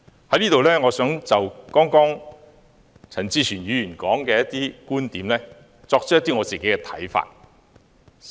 我想就陳志全議員剛才的一些觀點，提出我的看法。